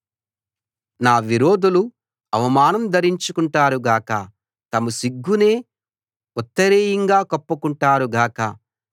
నా విరోధులు అవమానం ధరించుకుంటారు గాక తమ సిగ్గునే ఉత్తరీయంగా కప్పుకుంటారు గాక